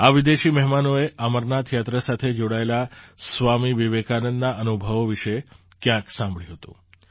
આ વિદેશી મહેમાનોએ અમરનાથ યાત્રા સાથે જોડાયેલા સ્વામી વિવેકાનંદના અનુભવો વિશે ક્યાંક સાંભળ્યું હતું